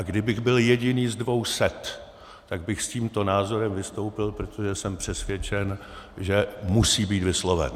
A kdybych byl jediný z dvou set, tak bych s tímto názorem vystoupil, protože jsem přesvědčen, že musí být vysloven.